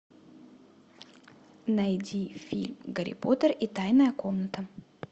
найди фильм гарри поттер и тайная комната